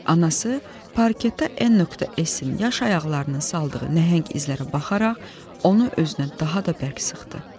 Anası parketdə N.S-in yaş ayaqlarının saldığı nəhəng izlərə baxaraq, onu özünə daha da bərk sıxdı.